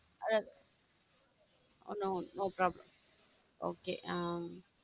அத~ உம் no problem okay ஹம்